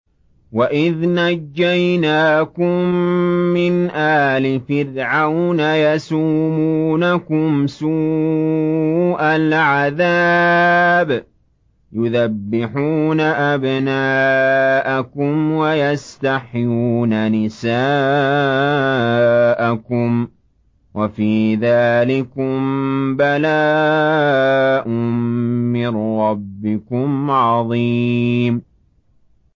وَإِذْ نَجَّيْنَاكُم مِّنْ آلِ فِرْعَوْنَ يَسُومُونَكُمْ سُوءَ الْعَذَابِ يُذَبِّحُونَ أَبْنَاءَكُمْ وَيَسْتَحْيُونَ نِسَاءَكُمْ ۚ وَفِي ذَٰلِكُم بَلَاءٌ مِّن رَّبِّكُمْ عَظِيمٌ